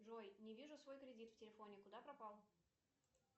джой не вижу свой кредит в телефоне куда пропал